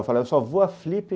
Eu falei, eu só vou à Flip.